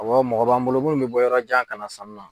Awɔ mɔgɔ b'an bolo munnu bɛ bɔ yɔrɔ jan ka na sanni na.